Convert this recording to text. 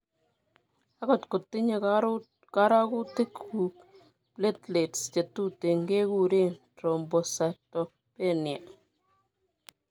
Akot kotinye korotikuuk platelets chetuten kekureen thrombocytopenia